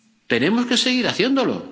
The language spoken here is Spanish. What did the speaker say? Tenemos que seguir haciéndolo.